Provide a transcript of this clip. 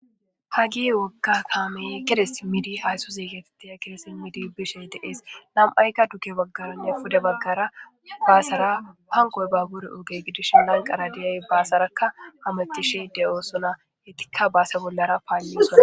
hagi wogga kaamey gedee simidi hayssu ziigetitiya kidesi midi bishey deees lam7aykka duge baggalonne pude baggara baasara panqoy baaggure oge gidish lanqara diyay baasarakka hametishi de7oo suna hitikka baase bollara paalli sona